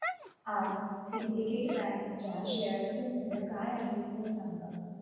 आज Syndicate bank च्या share चे मूल्य काय आहे हे सांगा